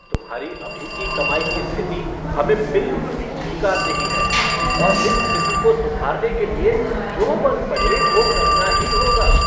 तुम्हारी अभी की कमाई की स्थिति हमें बिल्कुल भी स्वीकार नहीं हैं और इस स्थिति को सुधारने के लिए जो बन पड़े वो करना ही होगा।